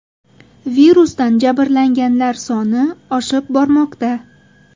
Virusdan jabrlanganlar soni oshib bormoqda.